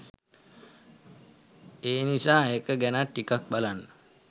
එනිසා ඒක ගැනත් ටිකක් බලන්න.